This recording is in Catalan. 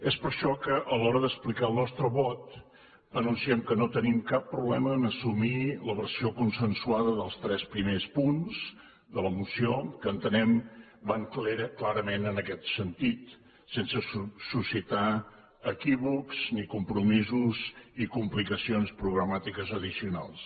és per això que a l’hora d’explicar el nostre vot anunciem que no tenim cap problema a assumir la versió consensuada dels tres primers punts de la moció que entenem van clarament en aquest sentit sense suscitar equívocs ni compromisos ni complicacions programàtiques addicionals